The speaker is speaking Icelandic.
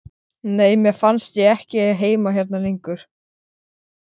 Nei, mér fannst ég ekki eiga heima hérna lengur.